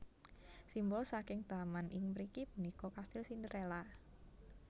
Simbol saking taman ing mriki punika kastil Cinderella